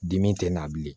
Dimi tɛ na bilen